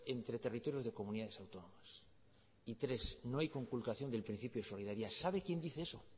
entre territorios de comunidades autónomas y tres no hay conculcación del principio de solidaridad sabe quién dice eso